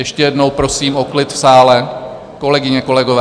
Ještě jednou prosím o klid v sále, kolegyně, kolegové!